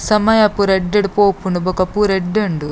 ಸಮಯ ಪೂರ ಎಡ್ಡೆ ಡು ಪೋಪುಂಡು ಬೊಕ ಪೂರ ಎಡ್ಡೆ ಉಂಡು.